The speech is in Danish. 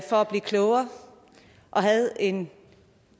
blive klogere og havde en